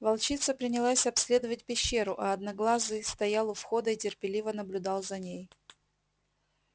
волчица принялась обследовать пещеру а одноглазый стоял у входа и терпеливо наблюдал за ней